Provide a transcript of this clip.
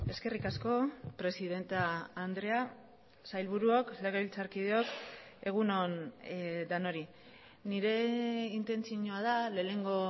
eskerrik asko presidente andrea sailburuok legebiltzarkideok egun on denoi nire intentzioa da lehenengo